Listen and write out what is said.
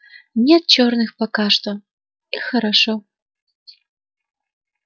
нет чёрных пока что и хорошо